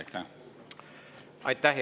Aitäh, hea kolleeg!